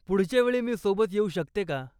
पुढच्या वेळी मी सोबत येऊ शकते का?